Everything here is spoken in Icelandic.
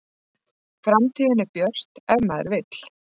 Framtíðin er björt ef maður vill